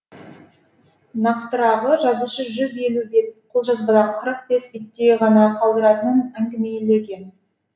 нақтырағы жазушы жүз елу бет қолжазбадан қырық бес беттей ғана қалдыратынын әңгімелеген